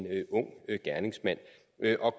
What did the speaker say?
ung gerningsmand